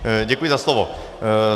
Děkuji za slovo.